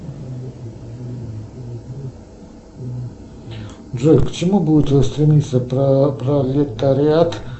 джой к чему будет стремиться пролетариат